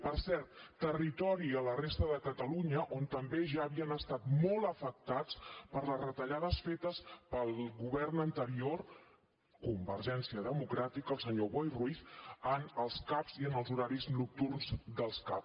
per cert territori a la resta de catalunya on també ja havien estat molt afectats per les retallades fetes pel govern anterior convergència democràtica el senyor boi ruiz en els cap i en els horaris nocturns dels cap